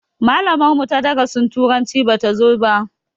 Malamar mu ta darasin turanci bata zo ba